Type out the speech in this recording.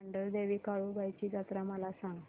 मांढरदेवी काळुबाई ची जत्रा मला सांग